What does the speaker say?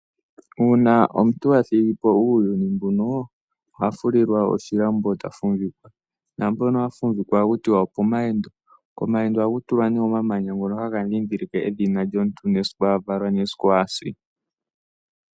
Uuna omuntu athigipo uuyuni mbuno, ohafulilwa oshilambo otafuvikwa napono hafuvikwa oha kutiwa okomayendo, komayendo ohaku tulwa ne omamanya ngono hagadhidhilike edhina lyomuntu esiku avalwa nesiku asi.